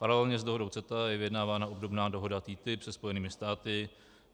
Paralelně s dohodou CETA je vyjednávána obdobná dohoda TTIP se Spojenými státy.